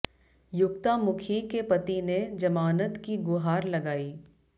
युक्ता मुखी के पति ने जमानत की गुहार लगायी